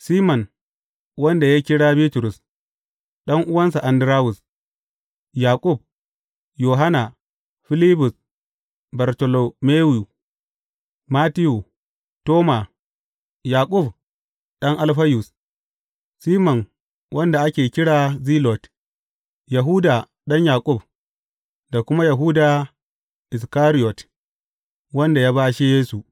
Siman wanda ya kira Bitrus, ɗan’uwansa Andarawus, Yaƙub, Yohanna, Filibus, Bartolomeyu, Mattiyu, Toma, Yaƙub ɗan Alfayus, Siman wanda ake kira Zilot, Yahuda ɗan Yaƙub, da kuma Yahuda Iskariyot, wanda ya bashe Yesu.